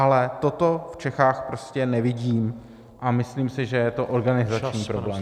Ale toto v Čechách prostě nevidím a myslím si, že je to organizační problém.